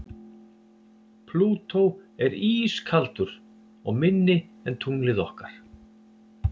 Plútó er ískaldur og minni en tunglið okkar.